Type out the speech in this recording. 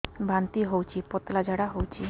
ବାନ୍ତି ହଉଚି ପତଳା ଝାଡା ହଉଚି